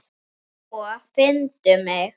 Sko, finndu mig.